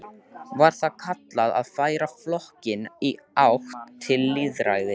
Var það kallað að færa flokkinn í átt til lýðræðis.